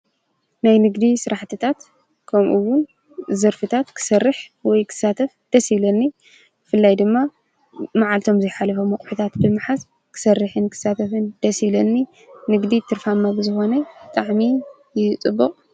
ናይ ንግዲ ስራሕትታት ከምኡ እውን ዘርፍታት ክሰርሕ ወይ ክሳተፍ ደስ ይብለኒ። ብፍላይ ድማ መዓልቶም ዘይሓለፎም አቁሑታት ብምሓዝ ክሰርሕን ክሳተፍን ደስ ይብለኒ። ንግዲ ትርፋማ ብዝኮነ ብጣዕሚ እዩ ፅቡቅ።